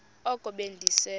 oko be ndise